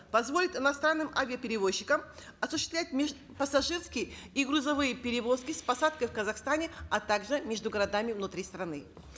позволит иностранным авиаперевозчикам осуществлять межпассажирские и грузовые перевозки с посадкой в казахстане а также между городами внутри страны